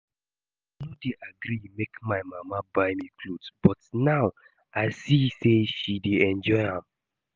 Before I no dey gree make my mama buy me cloth but now I see say she dey enjoy am